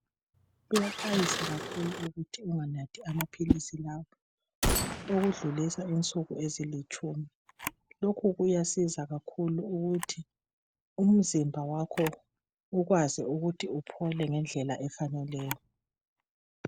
kuyaxwayiswa kakhulu ukuthi unganathi amaphilisi lawa ukudlulisa insuku ezilitshumi lokhu kuyasiza kakhulu ukuthi umzimba wakho ukwazi ukuthi uphole ngendlela efaneleyo